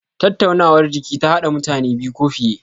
Tattaunawar jiki ta hada mutane biyu ko fiye.